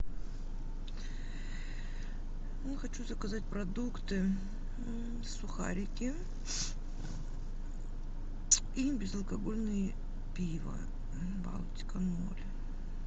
ну хочу заказать продукты сухарики и безалкогольное пиво балтика ноль